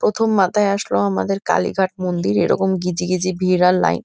প্রথম মাথায় আসলো আমাদের কালিঘাট মন্দির এরকম গিজগিজি ভিড় আর লাইট ।